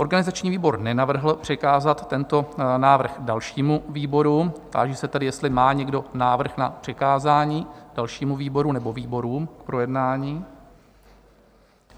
Organizační výbor nenavrhl přikázat tento návrh dalšímu výboru, táži se tedy, jestli má někdo návrh na přikázání dalšímu výboru nebo výborům k projednání?